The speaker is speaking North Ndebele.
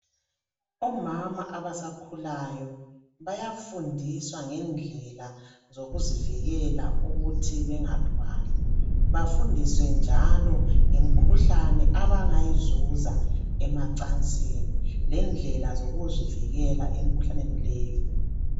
Omama abasakhulayo bayafundiswa ngendlela zokuzivikela ukuthi bengathwali bafundiswe njalo ngemikhuhlane abangayizuza emancansini lendlela zokuzivikela emkhuhlaneni leyo.